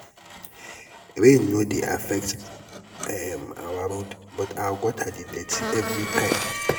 rain no dey affect um our road but our gutter dey dirty everytime.